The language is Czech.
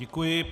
Děkuji.